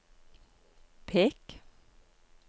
pek